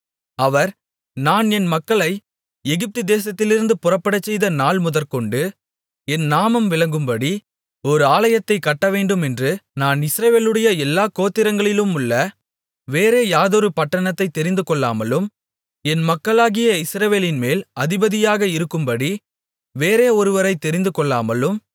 அவர் நான் என் மக்களை எகிப்து தேசத்திலிருந்து புறப்படச்செய்த நாள்முதற்கொண்டு என் நாமம் விளங்கும்படி ஒரு ஆலயத்தைக் கட்டவேண்டுமென்று நான் இஸ்ரவேலுடைய எல்லா கோத்திரங்களிலுமுள்ள வேறே யாதொரு பட்டணத்தைத் தெரிந்துகொள்ளாமலும் என் மக்களாகிய இஸ்ரவேலின்மேல் அதிபதியாக இருக்கும்படி வேறே ஒருவரைத் தெரிந்துகொள்ளாமலும்